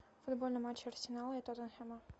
футбольный матч арсенала и тоттенхэма